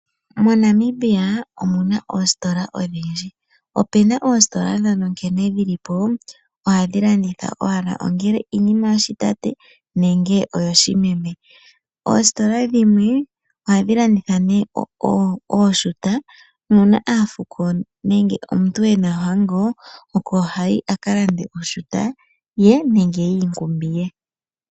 MoNamibia omuna oositola odhindji. Opuna oositola dhono nkene dhili po ohadhi landitha owala ongele iinima yoshitate nenge oyoshimeme. Oositola dhimwe ohadhi landitha nee oshuta nuuna aafuko nenge omuntu ena ohango oko hayi aka lande oshuta ye nenge yiinkumbi ye.